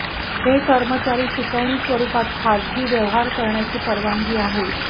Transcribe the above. हे कर्मचारी शिकवणी स्वरूपात खाजगी व्यवहार करण्याची परवानगी आहे